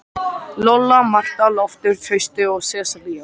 Lolla, Marta, Loftur, Trausti og Sesselía.